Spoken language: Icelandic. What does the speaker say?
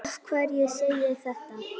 Af hverju segi ég þetta?